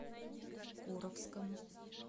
куровскому